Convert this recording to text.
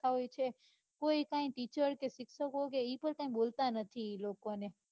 આવું છે કોઈ કાંઈ teacher કે શિક્ષકો કે ઈ પણ કાંઈ બોલતા નથી ઈ લોકોને.